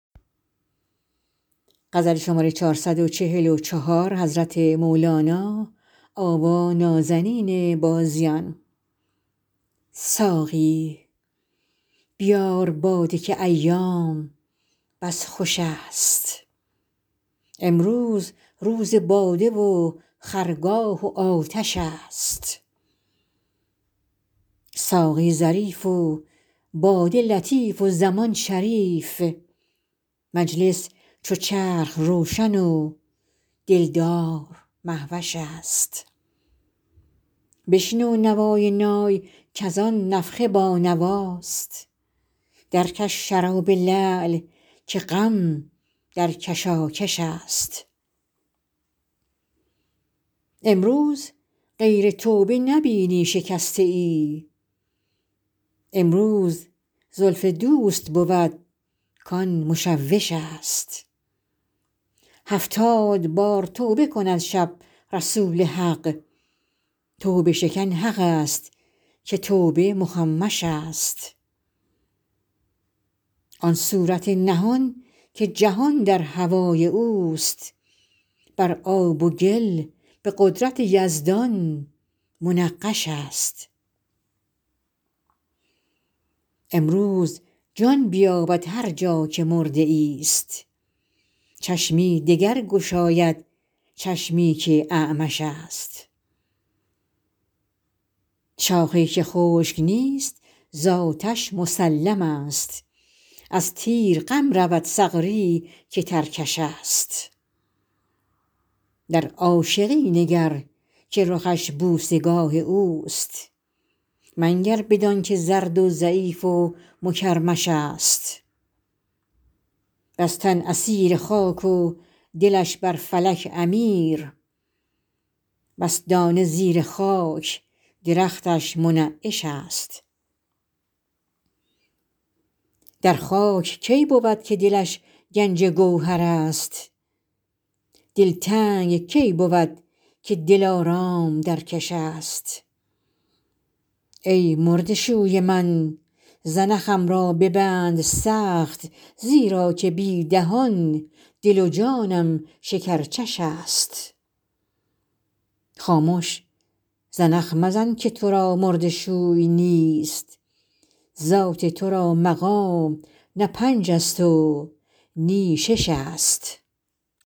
ساقی بیار باده که ایام بس خوشست امروز روز باده و خرگاه و آتش است ساقی ظریف و باده لطیف و زمان شریف مجلس چو چرخ روشن و دلدار مهوش است بشنو نوای نای کز آن نفخه بانواست درکش شراب لعل که غم در کشاکش است امروز غیر توبه نبینی شکسته ای امروز زلف دوست بود کان مشوش است هفتاد بار توبه کند شب رسول حق توبه شکن حق است که توبه مخمش است آن صورت نهان که جهان در هوای او است بر آب و گل به قدرت یزدان منقش است امروز جان بیابد هر جا که مرده ای است چشمی دگر گشاید چشمی که اعمش است شاخی که خشک نیست ز آتش مسلم است از تیر غم ندارد سغری که ترکش است در عاشقی نگر که رخش بوسه گاه او است منگر بدانک زرد و ضعیف و مکرمش است بس تن اسیر خاک و دلش بر فلک امیر بس دانه زیر خاک درختش منعش است در خاک کی بود که دلش گنج گوهر است دلتنگ کی بود که دلارام در کش است ای مرده شوی من زنخم را ببند سخت زیرا که بی دهان دل و جانم شکرچش است خامش زنخ مزن که تو را مرده شوی نیست ذات تو را مقام نه پنج است و نی شش است